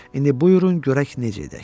İndi buyurun görək necə edək.